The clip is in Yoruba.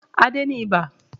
Adé ní ibà